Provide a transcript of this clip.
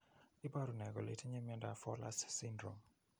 Iporu ne kole itinye miondap Fowler's syndrome?